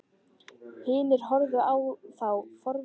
Hinir horfðu á þá forvitnir á svip.